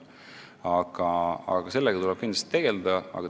Aga selle teemaga tuleb kindlasti tegelda.